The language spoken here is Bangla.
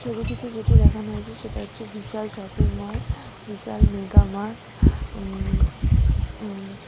ছবিটিতে যেটি দেখানো হয়েছে সেটা হচ্ছে বিশাল শপিং মল বিশাল মেগা মার্ট উম উম